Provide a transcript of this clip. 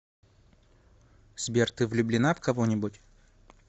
сбер ты влюбленна в кого нибудь